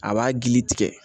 A b'a gili tigɛ